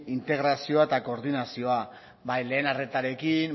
integrazioa eta koordinazioa bai lehen arretarekin